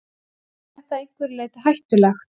Er þetta að einhverju leyti hættulegt?